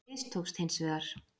Það mistókst hins vegar.